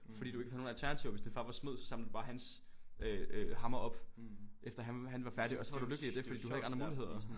Fordi du ikke havde nogle alternativer hvis din far var smed så samlede du bare hans øh hammer op efter han han var færdig og så var du lykkelig i det fordi du havde ikke andre muligheder